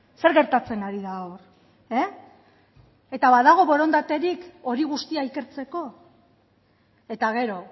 zer gertatzen ari da hor eh eta badago borondaterik hori guztia ikertzeko eta gero